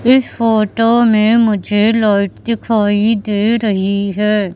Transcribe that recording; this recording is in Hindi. इस फोटो मे मुझे लाइट दिखाई दे रही है।